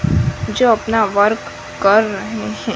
जो अपना वर्क कर रहे हैं।